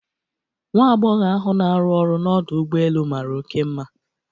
Nwa agbogho ahu na aru ọrụ n'Ọdụ ụgbọ elu mara one mma